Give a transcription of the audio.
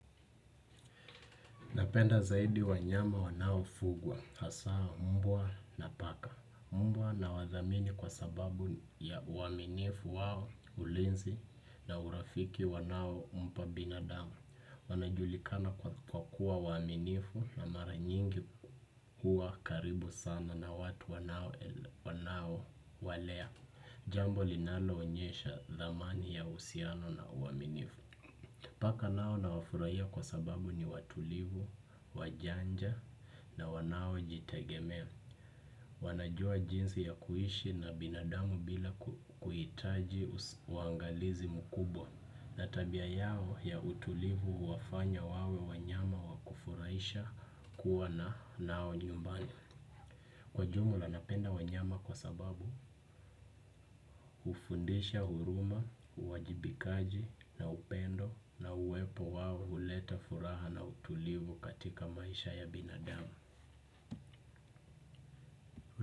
Napenda zaidi wanyama wanao fugwa. Hasaa mbwa na paka. Mbwa nawadhamini kwa sababu ya uaminifu wao ulinzi na urafiki wanao mpa binadamu. Wanajulikana kwa kuwa waaminifu na mara nyingi kuwa karibu sana na watu wanao walea. Jambo linalo onyesha thamani ya uhusiano na uaminifu. Paka nao na wafurahia kwa sababu ni watulivu, wajanja na wanao jitegemea. Wanajua jinsi ya kuishi na binadamu bila kuhitaji uangalizi mkubwa. Na tabia yao ya utulivu huwafanya wawe wanyama wakufurahisha kuwa nao nyumbani. Kwa jumla napenda wanyama kwa sababu hufundisha huruma, uwajibikaji na upendo na uwepo wawo huleta furaha na utulivu katika maisha ya binadamu.